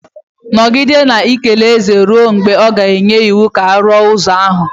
Nọgidenụ na-ekele eze ruo mgbe ọ ga-enye iwu ka e wuo ụzọ ahụ.